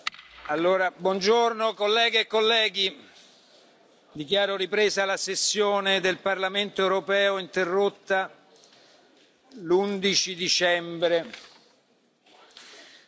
Dichiaro ripresa la sessione del Parlamento europeo interrotta mercoledì 11 dicembre